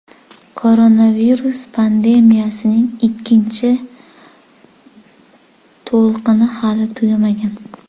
Koronavirus pandemiyasining ikkinchi to‘lqini hali tugamagan.